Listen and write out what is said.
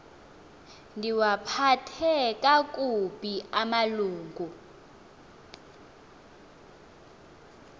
ndiwaphathe kakubi amalungu